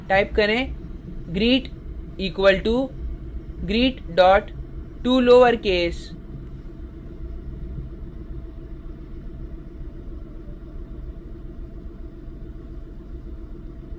type करें greet equal to greet tolowercase ;